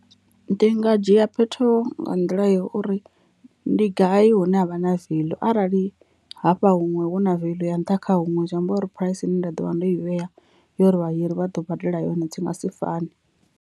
Ndi nga dzhia phetho nga nḓila ya uri ndi gai hune havha na veḽu arali hafha hunwe huna veḽu ya nṱha kha huṅwe zwi amba uri phuraisi ine nda ḓovha ndo i vhea ya uri vhahiri vha ḓo badela yone dzi nga si fane.